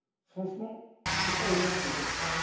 Franchement, ce n'est pas honnête de dire cela.